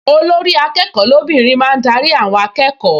Olórí-akẹ́kọ̀ọ́ lóbìnrin máa ń darí àwọn akẹ́kọ̀ọ